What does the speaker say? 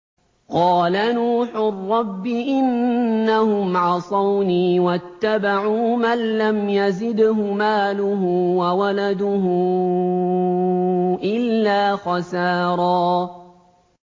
قَالَ نُوحٌ رَّبِّ إِنَّهُمْ عَصَوْنِي وَاتَّبَعُوا مَن لَّمْ يَزِدْهُ مَالُهُ وَوَلَدُهُ إِلَّا خَسَارًا